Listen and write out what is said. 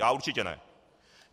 Já určitě ne.